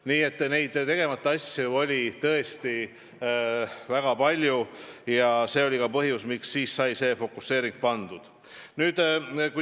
Nii et tegemata asju oli tõesti väga palju ja see oli ka põhjus, miks sai selline fookus valitud.